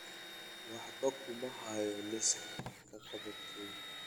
Waxba kuma hayo liiska wax-qabadkayga